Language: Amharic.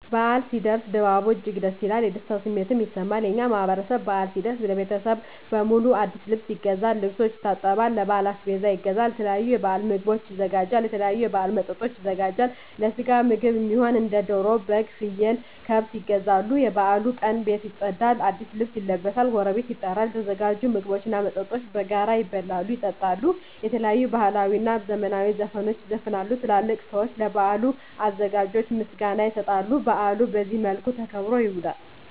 በዓል ሲኖር ድባቡ እጅግ ደስ ይላል። የደስታ ስሜትም ይሰማል። የእኛ ማህበረሰብ በአል ሲደርስ ለቤተሰብ በሙሉ አዲስ ልብስ ይገዛል፤ ልብሶችን ያጥባል፤ ለበዓል አስቤዛ ይገዛል፤ የተለያዩ የበዓል ምግቦችን ያዘጋጃል፤ የተለያዩ የበዓል መጠጦችን ያዘጋጃል፤ ለስጋ ምግብ እሚሆኑ እንደ ደሮ፤ በግ፤ ፍየል፤ ከብት ይገዛሉ፤ የበዓሉ ቀን ቤት ይፀዳል፤ አዲስ ልብስ ይለበሳል፤ ጎረቤት ይጠራል፤ የተዘጋጁ ምግቦች እና መጠጦች በጋራ ይበላሉ፤ ይጠጣሉ፤ የተለያዩ ባህላዊ እና ዘመናዊ ዘፈኖች ይዘፈናሉ፤ ትላልቅ ሰዊች ለበዓሉ አዘጋጆች ምስጋና ይሰጣሉ፤ በአሉ በዚህ መልክ ተከብሮ ይውላል።